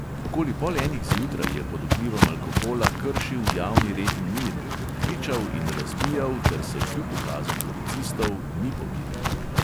Okoli pol enih zjutraj je pod vplivom alkohola kršil javni red in mir, kričal in razbijal ter se kljub ukazom policistov ni pomiril.